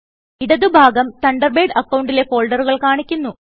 ഇടതു ഭാഗം തണ്ടർബേഡ് അക്കൌണ്ടിലെ ഫോൾഡറുകൾ കാണിക്കുന്നു